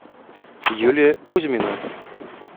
юлия кузьмина